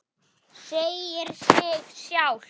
Segir sig sjálft.